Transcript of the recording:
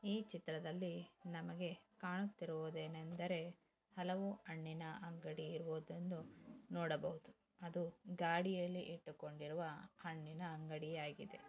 ಈ ಚಿತ್ರದಲ್ಲಿ ನಮಗೆ ಕಾಣುತ್ತಿರುವುದೇನೆಂದರೆ ಅಳವು ಅನ್ನಿನ ಅಂಗಡಿ ಇರುವುದನ್ನು ನೋಡಬಹುದು. ಅದು ಗಾಡಿಯಲ್ಲಿ ಇಟ್ಟುಕೊಂಡಿರುವ ಅಂಗಡಿ ಆಗಿದೆ.